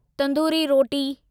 तंदूरी रोटी